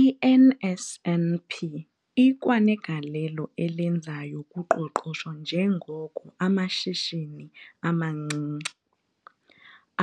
I-NSNP ikwanegalelo elenzayo kuqoqosho njengoko amashishini amancinci,